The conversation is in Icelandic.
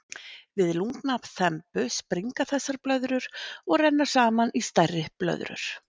Við lungnaþembu springa þessar blöðrur og renna saman í stærri blöðrur.